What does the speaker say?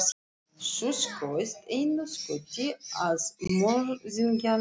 Þú skaust einu skoti að morðingjanum.